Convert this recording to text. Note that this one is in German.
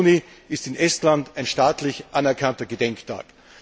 14. Juni ist in Estland ein staatlich anerkannter Gedenktag.